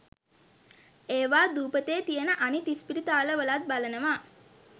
එවා දූපතේ තියන අනිත් ඉස්පිරිතාලවලත් බලනවා.